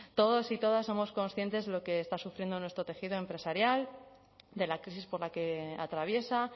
todos y todas somos conscientes de lo que está sufriendo nuestro tejido empresarial de la crisis por la que atraviesa